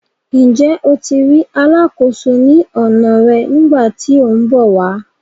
Njẹ o tí ri alàkóso ní ọna rẹ nigbati tí ọ n bọ wà?